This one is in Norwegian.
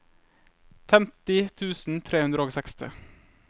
femti tusen tre hundre og seksti